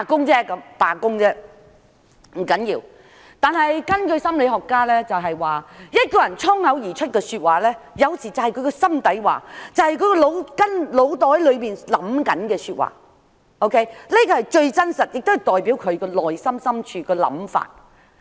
這不要緊，但根據心理學家所說，一個人衝口而說出的話，有時才是他的心底話，是他腦子裏正在想的說話，這是最真實，亦代表他內心深處的想法。